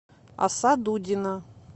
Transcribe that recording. аса дудина